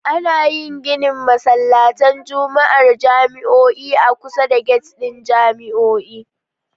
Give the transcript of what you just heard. Ana yin ginin masallatan Juma'ar jami'o'i a kusa da gyat ɗin jami'o'i